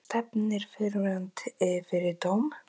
Stefnir fyrrverandi fyrir dóm